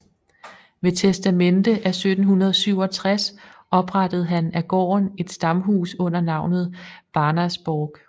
Ved testamente af 1767 oprettede han af gården et stamhus under navnet Barnersborg